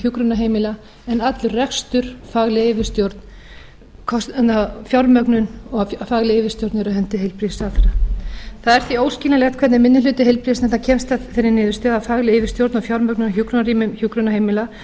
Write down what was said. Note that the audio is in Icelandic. hjúkrunarheimila en allur rekstur fagleg yfirstjórn fjármögnun og fagleg yfirstjórn eru á hendi heilbrigðisráðherra það er því óskiljanlegt hvernig minni hluti heilbrigðisnefndar kemst að þeirri niðurstöðu að fagleg yfirstjórn og fjármögnun á hjúkrunarrýmum hjúkrunarheimila